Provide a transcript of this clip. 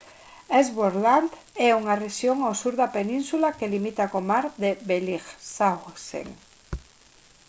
ellsworth land é unha rexión ao sur da península que limita co mar de bellingshausen